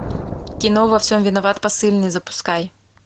кино во всем виноват посыльный запускай